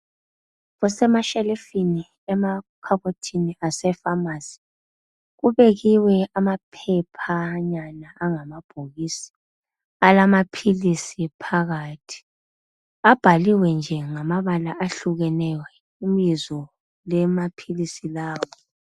Kusemashelifini emakhabothini ase pharmacy kubekiwe amaphephanyana angamabhokisi alama philisi phakathi abhaliwe nje ngamabala ahlukeneyo ibizo lamaphilisi lawa.